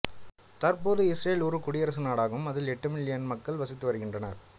தற்போது இஸ்ரேல் ஒரு குடியரசு நாடாகும் அதில் எட்டு மில்லியன் மக்கள் வசித்து வருகின்றனர்